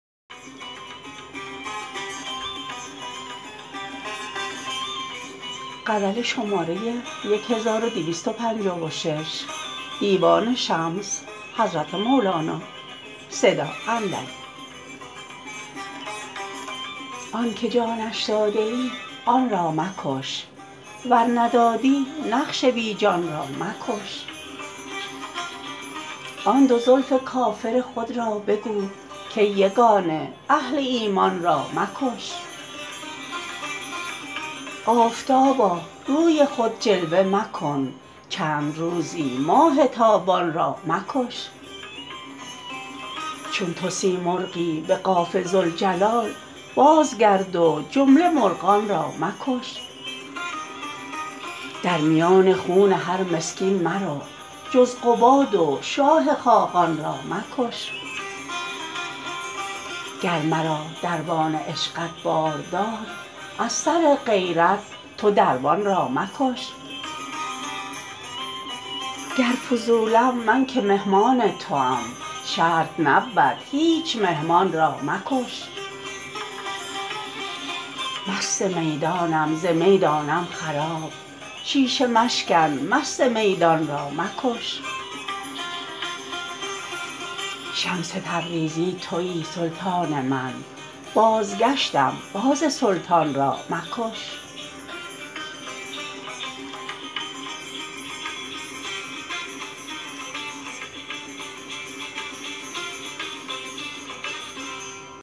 آنک جانش داده ای آن را مکش ور ندادی نقش بی جان را مکش آن دو زلف کافر خود را بگو کای یگانه اهل ایمان را مکش آفتابا روی خود جلوه مکن چند روزی ماه تابان را مکش چون تو سیمرغی به قاف ذوالجلال بازگرد و جمله مرغان را مکش در میان خون هر مسکین مرو جز قباد و شاه خاقان را مکش گر مرا دربان عشقت بار داد از سر غیرت تو دربان را مکش گر فضولم من که مهمان توام شرط نبود هیچ مهمان را مکش مست میدانم ز می دانم خراب شیشه مشکن مست میدان را مکش شمس تبریزی توی سلطان من بازگشتم باز سلطان را مکش